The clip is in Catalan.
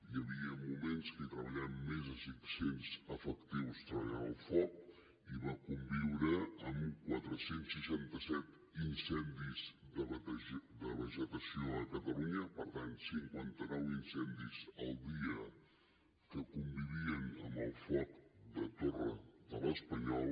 hi havia moments que hi treballaven més de cinc cents efectius treballant el foc i va conviure amb quatre cents i seixanta set incendis de vegetació a catalunya per tant cinquanta nou incendis al dia que convivien amb el foc de la torre de l’espanyol